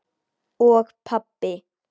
Og pabbi!